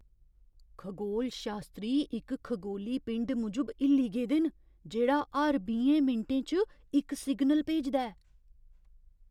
खगोलशास्त्री इक खगोली पिंड मूजब हिल्ली गेदे न जेह्ड़ा हर बीहें मिंटें च इक सिग्नल भेजदा ऐ।